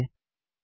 प्रविष्ट करें